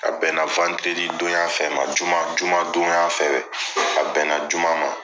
A bɛn na donya fɛnɛ ma, juma juma jumadon a bɛna juma ma.